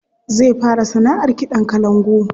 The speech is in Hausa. Zai fara sanaʼar kiɗan kalangu.